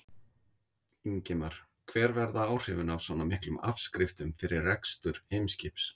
Ingimar: Hver verða áhrifin af svona miklum afskriftum fyrir rekstur Eimskips?